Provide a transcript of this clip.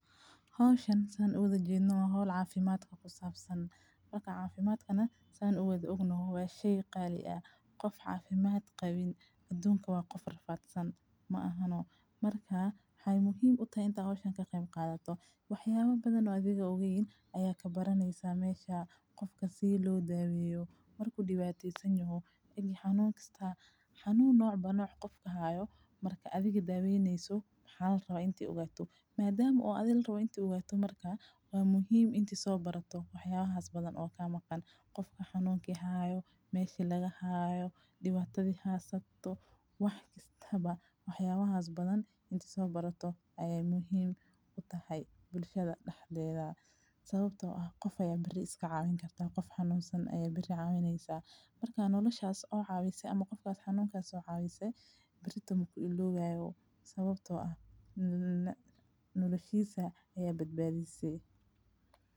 Hawshan saan uga jeedno ahood caafimaad kha ku saabsan. Marka caafimaadkana saan u weyd ugnahay waashay qaali ah. Qof caafimaad qeeyb, aduunka waa qof rafaadsan ma ahanoo. Markaa xay muhiim u tahay intaa hawshanka qeyb qaadato. Waxyaabo badan oo adiga ogeyn ayaa ka baranaysa meesha qofka si loo daaweyo mar ku dhiibateysan yahu, eeg xanuun kastaa xanuun nooc ba nooc qof ka haayo. Marka adiga daaweynayso maxal rab intii ogaato maadaama oo adil rab intii ogaato markaa oo muhiim intii soo barato. Waxyaabo haast badan oo kaa maqan, qofka xanuun ka haayo meeshii laga haayo dhibaatadii haastato wax kasta ba ah. Waxyaabo haast badan intii soo barato ayay muhiim u tahay bulshada dhexdeeda sababtoo ah qof ay berri iska caawin kartaa. Qof xanuunsan ayey beri caawineysaa markaan noloshaas oo caawisey ama qofka aad xanuunka soo caawisey, birta muku ilooga iga awo sababtoo ah na-noloshiisa ayee badbaadisey.